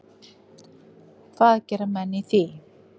Og hvað gera menn í því?